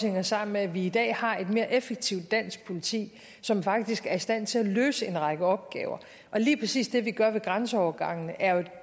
hænger sammen med at vi i dag har et mere effektivt dansk politi som faktisk er i stand til at løse en række opgaver lige præcis det vi gør ved grænseovergangene er jo et